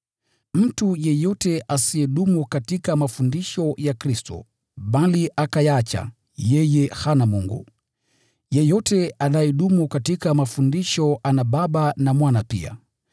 Mtu yeyote asiyedumu katika mafundisho ya Kristo, bali akayaacha, yeye hana Mungu. Yeyote anayedumu katika mafundisho ana Baba na Mwana pia.